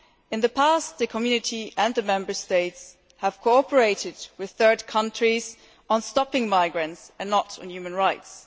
In the past, the Community and the Member States have cooperated with third countries on stopping migrants and not on human rights.